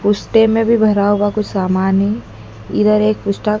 में भी भरा हुआ कुछ सामान है इधर एक